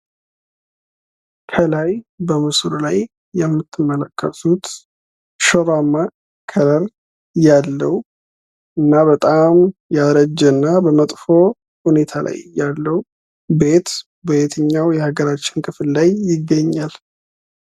ከላይ በምስሉ ላይ የምትመለከቱት ሽሮአማ ከለር ያለውና በጣም ያረጀና በመጥፎ ሁኔታ ላይ ያለው ቤት በየትኛው የሀገራችን ክፍል ላይ ይገኛል።